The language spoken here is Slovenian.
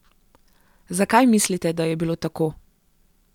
Zakaj mislite, da je bilo tako?